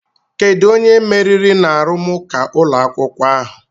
Kedu onye meriri n'arụmụka ụlọ akwụkwọ ahụ?